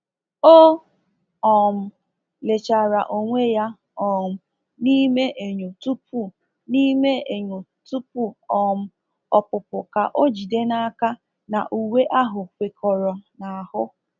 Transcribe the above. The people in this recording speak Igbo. O um lechara onwe ya um n’ime enyo tupu n’ime enyo tupu um ọpụpụ ka o jide n'aka na uwe ahụ kwekọrọ n'ahụ.